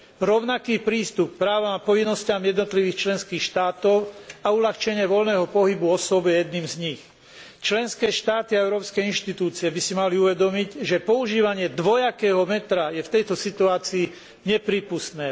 Rovnaký prístup k právam a povinnostiam jednotlivých členských štátov a uľahčenie voľného pohybu osôb je jedným z nich. Členské štáty a európskej inštitúcie by si mali uvedomiť, že používanie dvojakého metra je v tejto situácii neprípustné.